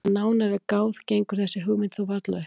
Þegar nánar er að gáð gengur þessi hugmynd þó varla upp.